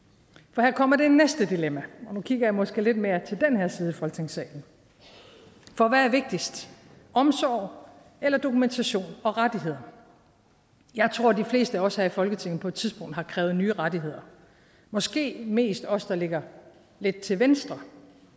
for her kommer det næste dilemma og nu kigger jeg måske lidt mere til den her side af folketingssalen for hvad er vigtigst omsorg eller dokumentation og rettigheder jeg tror de fleste af os her i folketinget på et tidspunkt har krævet nye rettigheder måske mest os der ligger lidt til venstre